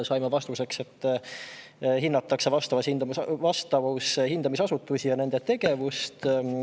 Saime vastuseks, et see hindab vastavushindamisasutusi ja nende tegevust.